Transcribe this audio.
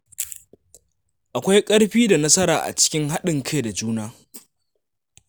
Akwai ƙarfi da nasara a cikin haɗin kai da juna.